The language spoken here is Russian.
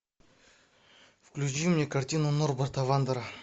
включи мне картину норберта вандера